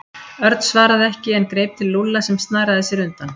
Örn svaraði ekki en greip til Lúlla sem snaraði sér undan.